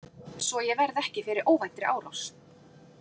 Svo að ég verði ekki fyrir óvæntri árás.